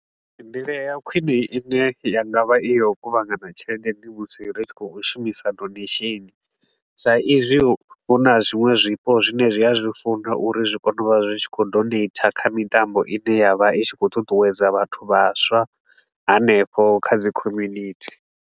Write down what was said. Nḓila ya khwine i ne ya nga vha i ya u kuvhangana tshelede musi ri tshi khou shumisa donation, sa izwi hu na zwiṅwe zwifho zwine zwi a zwi funa uri zwi kone u vha zwi tshi khou donater kha mitambo i ne ya vha i tshi khou ṱuṱuwedza vhathu vhaswa hanefho kha dzi community.